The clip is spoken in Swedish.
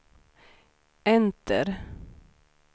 enter